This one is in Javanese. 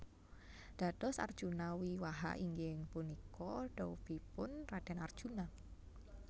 Dados Arjuna Wiwaha inggih punika dhaupipun Raden Arjuna